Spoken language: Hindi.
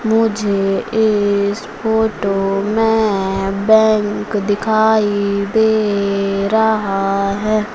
मुझे इस फोटो में बैंक दिखाई दे रहा है।